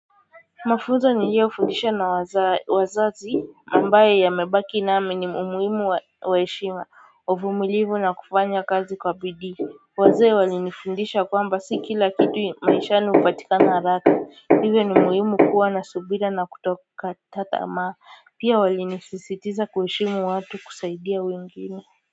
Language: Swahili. Mafunzo niliyo fundisha na wazazi ambaye amebaki nami ni umuhimu waheshima uvumilivu na kufanya kazi kwa bidii wazee walinifundisha kwamba si kila kitu maishani hupatikana haraka hivyo ni muhimu kuwa na subira na kutokata tamaa pia walinisisitiza kuheshimu watu kusaidia wengine.